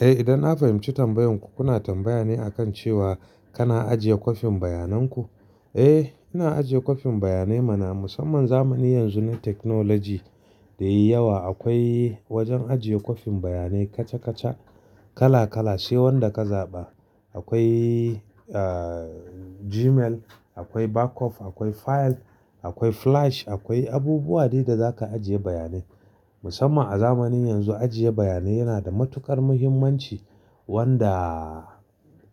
Eh, idan na fahimci tambayan ku, kuna tambaya ne a kan cewa kana ajiye kwafin bayananku? Eh, ina ajiye kwafin bayanai mana musamman zamani yanzu na technology da yayyawa. Akwai wajen ajiye kwafin bayanai kaca-kaca, kala-kala. Sai wanda ka zaɓa. Akwai, ah, Gmail, akwai backup, akwai file, akwai flash, akwai abubuwa dai da zaka ajiye bayanai. Musamman a zamanin yanzu, ajiye bayanai yana da matuƙar muhimmanci wanda,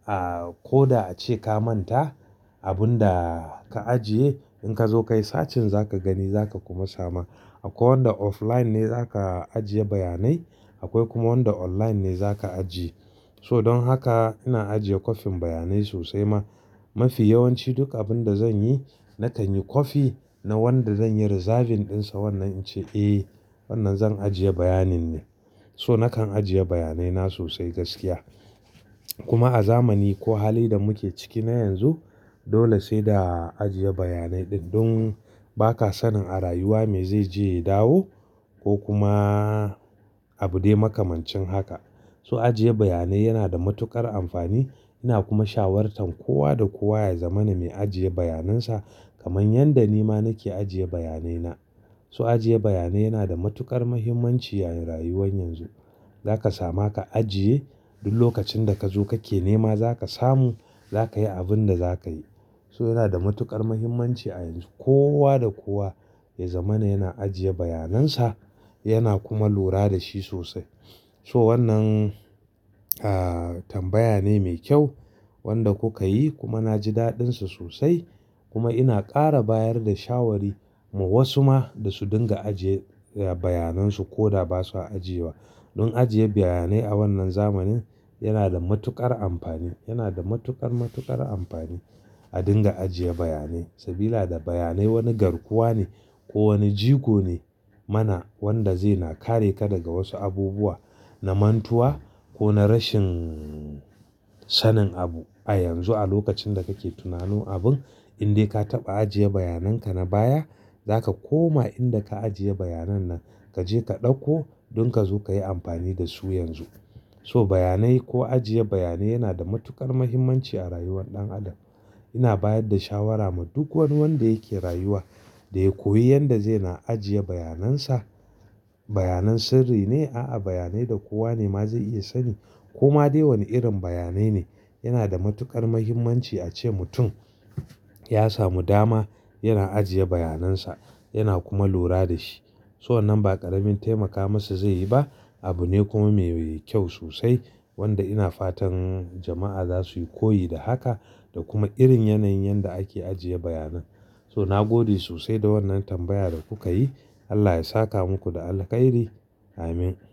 ah, ko da ace ka manta abun da ka ajiye, in ka zo kai, searching za ka gani, za ka kuma sama. Akwai wanda offline ne za ka ajiye bayanai, akwai kuma wanda online ne za ka ajiye. So don haka ina ajiye kwafin bayanai sosai ma. Mafi yawanci duk abin da zan yi, na kan yi kwafi na wanda zan yi reserving ɗinsa. Wannan ince, "Eh, wannan zan ajiye bayanin ne." So na kan ajiye bayanai na sosai gaskiya. Kuma a zamani ko hali da muke ciki na yanzu, dole sai da ajiye bayanai duk don ba ka sanin a rayuwa me zai je ya dawo ko kuma abu dai makamancin haka. So ajiye bayanai yana da matuƙar amfani. Ina kuma shawartan kowa da kowa ya zama na mai ajiye bayanan sa kamar yadda ni ma nake ajiye bayanai na. So ajiye bayanai yana da matuƙar muhimmanci a rayuwar yanzu. Za ka sama ka ajiye, duk lokacin da ka zo kake nema za ka samu, za kayi abin da za kayi. So yana da matuƙar muhimmanci a yanzu. Kowa da kowa ya zamana yana ajiye bayanan sa, yana kuma lura da shi sosai. So wannan, ah, tambaya ne mai kyau wanda kuka yi, kuma na ji daɗin sa sosai. Kuma ina ƙara bayar da shawari ma wasu ma da su dinga ajiye bayanan su ko da ba sa ajiyewa. Don ajiye bayanai a wannan zamanin yana da matuƙar amfani. Yana da matuƙar, matuƙar amfani a dinga ajiye bayanai. Sabida bayanai wani garkuwa ne ko wani jigo ne mana wanda zai na kare ka daga wasu abubuwa na mantuwa ko na rashin sanin abu. A yanzu a lokacin da kake tunano abun, in dai ka taɓa ajiye bayanan ka na baya, za ka koma inda ka ajiye bayanan nan, ka je ka ɗauko don ka zo ka yi amfani da su yanzu. So bayanai ko ajiye bayanai yana da matuƙar muhimmanci a rayuwar ɗan adam. Ina bayar da shawara ma duk wani wanda yake rayuwa da ya koyi yanda zai na ajiye bayanai sa. Bayanan sirri ne? A'a, bayanai da kowa ne ma zai iya sani. Koma dai wani irin bayanai ne, yana da matuƙar muhimmanci ace mutum ya samu dama yana ajiye bayanan sa, yana kuma lura da shi. So wannan ba ƙaramin taimaka masa zai yi ba. Abu ne kuma mai kyau sosai wanda ina fatan jama'a za su yi koyi da haka da kuma irin yanayin yadda ake ajiye bayanan. So nagode sosai da wannan tambaya da kuka yi. Allah ya saka muku da alkhairi. Amin.